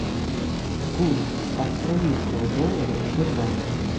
курс австралийского доллара в сбербанке